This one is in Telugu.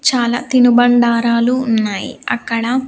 చాలా తినుబండారాలు ఉన్నాయి అక్కడ.